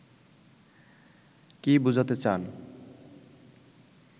কী বোঝাতে চান